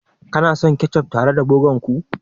Kuna son kechof tare da burger ku?